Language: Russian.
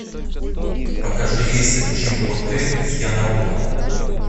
покажи рейсы в чимботе из янаула